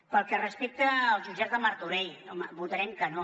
pel que respecta als jutjats de martorell home votarem que no